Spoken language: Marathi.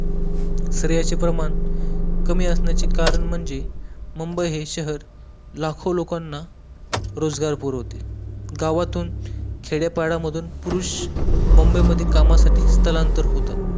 स्त्रियांचे प्रमाण कमी असण्याचे कारण म्हणजे मुंबई हे शहर लाखो लोकांना रोजगार पुरवते गावातून खेड्यापाड्यातून पुरुष मुंबई मध्ये कामासाठी स्थलांतर होतात